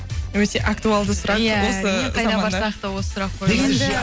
өте актуалды сұрақ иә осы заманда қайда барсақ та осы сұрақ қойылады